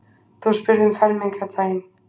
Þú spyrð um fermingardaginn.